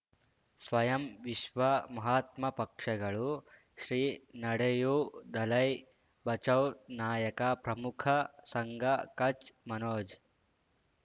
ಸ್ವಯಂ ವಿಶ್ವ ಮಹಾತ್ಮ ಪಕ್ಷಗಳು ಶ್ರೀ ನಡೆಯೂ ದಲೈ ಬಚೌ ನಾಯಕ ಪ್ರಮುಖ ಸಂಘ ಕಚ್ ಮನೋಜ್